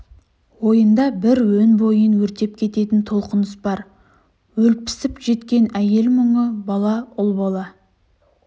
ойында бір өн бойын өртеп кететін толқыныс бар олпісіп жеткен әйел мұңы бала ұл бала